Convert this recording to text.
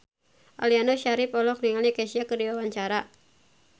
Aliando Syarif olohok ningali Kesha keur diwawancara